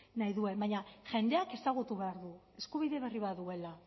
nahi duen baina jendeak ezagutu behar du eskubide berri baduela